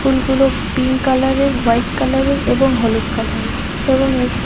ফুলগুলো পিংক কালারের হোয়াইট কালারের এবং হলুদ কালারের এবং এক --